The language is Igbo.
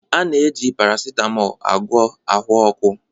A na-eji paracetamol agwọ ahụ ọkụ